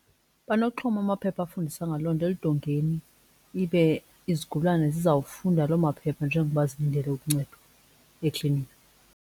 Banokuxhoma amaphepha afundisa ngaloo nto eludongeni ibe izigulane zizawufunda loo maphepha njengoba zilindele uncedo eklinikhi.